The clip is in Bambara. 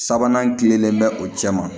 Sabanan kilenlen bɛ o cɛ ma